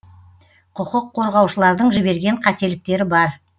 құқық қорғаушылардың жіберген қателіктері бар